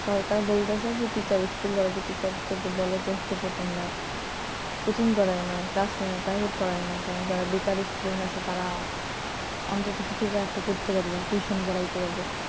সরকার বলতেছে যে teacher school কলেজের teacher বলে যে হচ্ছে যে তোমরা coaching করায় করায় না private পড়ায় না যারা বেকার student আছে তারা অত্যন্ত কিছু তো একটা করতে পারবে tuition করাইতে পারবে,